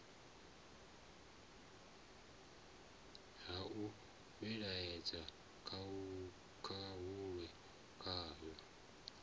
ha u ivhonetshela khahulo kwayo